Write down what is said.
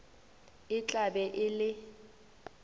e tla be e le